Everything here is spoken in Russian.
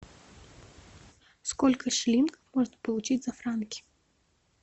сколько шиллингов можно получить за франки